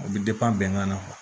O bɛ bɛnkan na